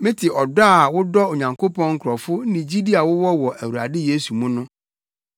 Mete ɔdɔ a wodɔ Onyankopɔn nkurɔfo ne gyidi a wowɔ wɔ Awurade Yesu mu no.